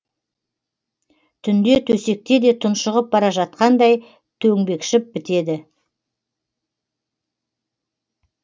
түнде төсекте де тұншығып бара жатқандай төңбекшіп бітеді